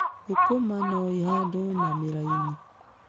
Thũkũma no ihandwo na mĩraini.